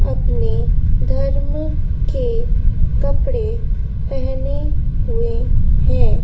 अपने धर्म के कपड़े पहने हुए हैं।